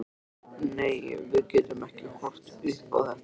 Nei, við getum ekki horft upp á þetta.